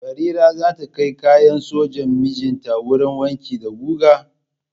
Barira za ta kai kayan sojan mijinta wurin wanki da guga?